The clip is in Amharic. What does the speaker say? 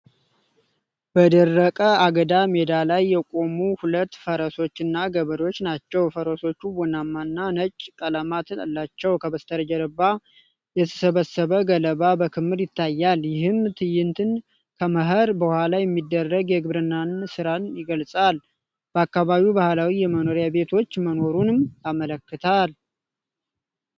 በደረቀ አገዳ ሜዳ ላይ የቆሙ ሁለት ፈረሶችንና ገበሬዎች ናቸው ። ፈረሶቹ ቡናማና ነጭ ቀለማት አላቸው። ከበስተጀርባ የተሰበሰበ ገለባ በክምር ይታያል። ይህም ትዕይንት ከመኸር በኋላ የሚደረግ የግብርና ሥራን ይገልጻል። በአካባቢው ባህላዊ የመኖሪያ ቤቶች መኖሩንም ያመለክታል።